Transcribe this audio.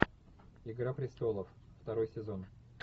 игра престолов второй сезон